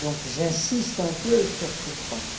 Donc j'insiste un peu sur ce point.